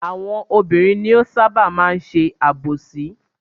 Àwọn obìnrin ni ó ṣábà máa ń ṣe àbòsí.